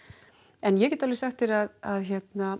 en ég get alveg sagt þér að